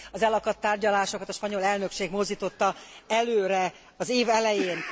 Az elakadt tárgyalásokat a spanyol elnökség mozdította előre az év elején.